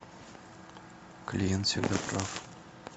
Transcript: клиент всегда прав